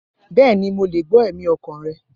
Bẹẹni, Mo le gbọ ẹmi ọkan rẹ.